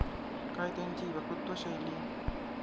काय त्यांची वक्तृत्व शैली?